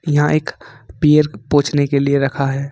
यहां एक पैर पोछने के लिए रखा है।